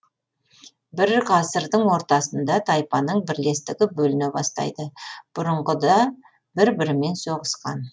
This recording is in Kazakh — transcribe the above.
бір ғасырдың ортасында тайпаның бірлестігі бөліне бастайды бұрынғыда бір бірімен соғысқан